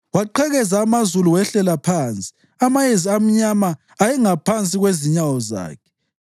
Waqhekeza amazulu wehlela phansi; amayezi amnyama ayengaphansi kwezinyawo zakhe.